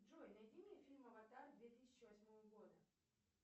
джой найди мне фильм аватар две тысячи восьмого года